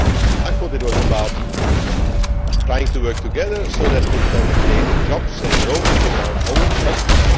I thought it was about trying to work together so that we can create jobs and growth in our own countries.